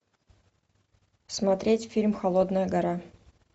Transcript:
смотреть фильм холодная гора